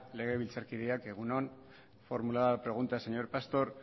legebiltzarkideak egun on formulada la pregunta señor pastor